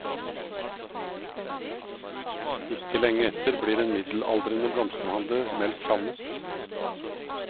Ikke lenge etter blir en middelaldrende blomsterhandler meldt savnet.